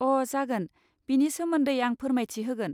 अ' जागोन, बेनि सोमोन्दै आं फोरमायथि होगोन।